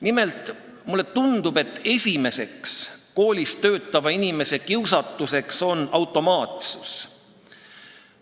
Nimelt, mulle tundub, et üks põhilisi koolis töötava inimese kiusatusi on automaatsus.